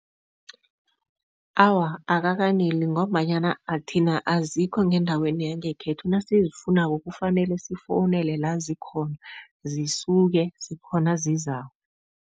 Awa, akakaneli ngombanyana thina azikho ngendaweni yangekhethu, nasizifunako kufanele sifowunele la zikhona, zisuke, zikhona zizako.